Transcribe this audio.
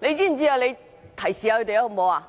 理主席，你提示一下他們，好嗎？